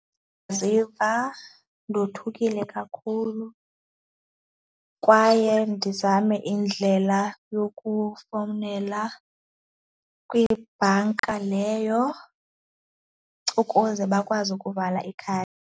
Ziva ndothukile kakhulu kwaye ndizame indlela yokufowunela kwibhanka leyo ukuze bakwazi ukuvala .